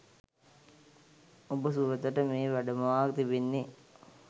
ඔබ සුරතට මේ වැඩමවා තිබෙන්නේ